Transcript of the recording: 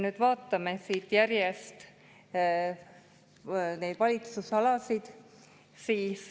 Vaatame nüüd järjest neid valitsemisalasid.